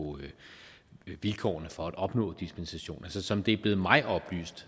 vilkårene for at opnå dispensation som det er blevet mig oplyst